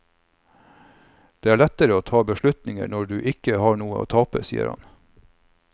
Det er lettere å ta beslutningen når du ikke har noe å tape, sier han.